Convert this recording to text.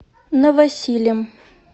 новосилем